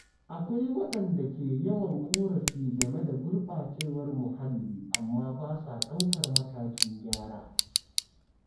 Akwai wadanda ke yawan korafi game da gurbacewar muhalli amma ba sa daukar matakin gyara.